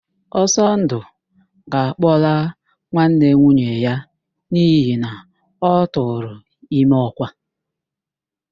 Ọsọndụ ga-akpọla nwanne nwunye ya n'ihi na ọ tụrụ ime ọ́kwà